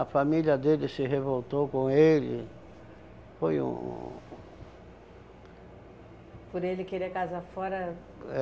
A família dele se revoltou com ele, foi um... Por ele querer casar fora?